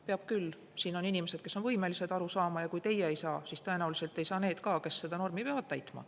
Peab küll, siin on inimesed, kes on võimelised aru saama, ja kui teie ei saa, siis tõenäoliselt ei saa ka need, kes seda normi peavad täitma.